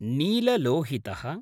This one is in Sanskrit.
नीललोहितः